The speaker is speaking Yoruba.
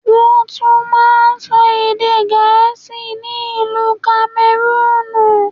Wọ́n tún máa ń sọ èdè Gẹ̀ẹ́sì ni ìlú Kamẹrúùnù.